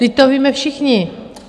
Vždyť to víme všichni.